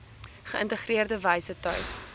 geïntegreerde wyse tuis